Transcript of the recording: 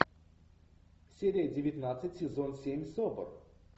серия девятнадцать сезон семь собр